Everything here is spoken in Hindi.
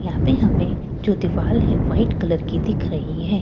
यहाँ पे हमे जो दीवाल है व्हाइट कलर की दिख रही है यहां --